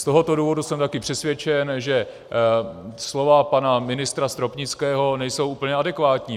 Z tohoto důvodu jsem taky přesvědčen, že slova pana ministra Stropnického nejsou úplně adekvátní.